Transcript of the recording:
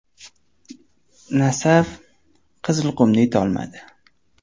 “Nasaf” “Qizilqum”ni yuta olmadi.